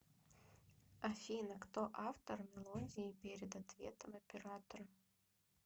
афина кто автор мелодии перед ответом оператора